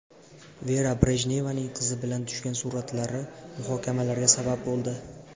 Vera Brejnevaning qizi bilan tushgan suratlari muhokamalarga sabab bo‘ldi.